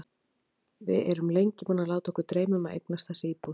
Við erum lengi búin að láta okkur dreyma um að eignast þessa íbúð.